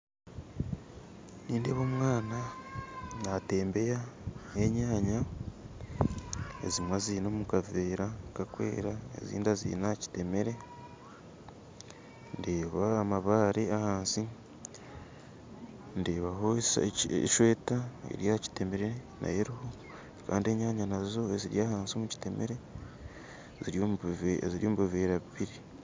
Nindeeba omwana natembeya enyanya ezimwe aziine omukaveera akakwera ezindi aziine aha kitemere ndeebaho amabaare ahansi ndebaho esweeta eryakitemere Kandi enyanya nazo eziri ahansi omukitemere ziri omubuveera bubiri